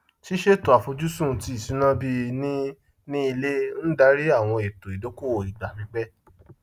ṣíṣètò àfojúsùn ti ìṣúná bíi ní ni ilé ń darí àwọn ètò idókòwò igba pípẹ